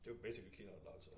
Det jo basically clean out loud så